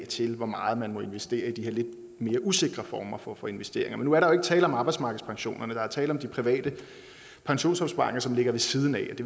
til hvor meget man må investere i de her lidt mere usikre former for for investeringer men nu er der jo ikke tale om arbejdsmarkedspensionerne der er tale om de private pensionsopsparinger som ligger ved siden af